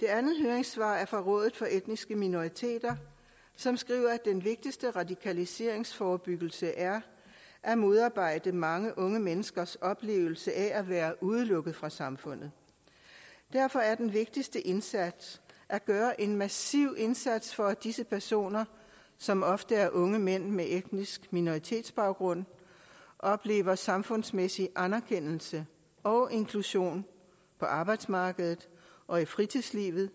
det andet høringssvar er fra rådet for etniske minoriteter som skriver at den vigtigste radikaliseringsforebyggelse er at modarbejde mange unge menneskers oplevelse af at være udelukket fra samfundet derfor er den vigtigste indsats at gøre en massiv indsats for at disse personer som ofte er unge mænd med etnisk minoritetsbaggrund oplever samfundsmæssig anerkendelse og inklusion på arbejdsmarkedet og i fritidslivet